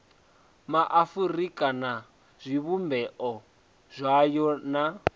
maafurika na zwivhumbeo zwayo na